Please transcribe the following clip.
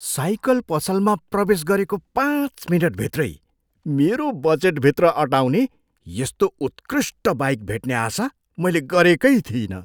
Cycle पसलमा प्रवेश गरेको पाँच मिनेटभित्रै मेरो बजेटभित्र अटाउने यस्तो उत्कृष्ट बाइक भेट्ने आशा मैले गरेकै थिइनँ।